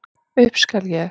Upp skal ég.